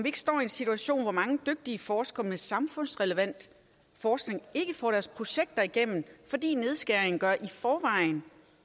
ikke står i en situation hvor mange dygtige forskere med samfundsrelevant forskning ikke får deres projekter igennem fordi nedskæringen gør en i forvejen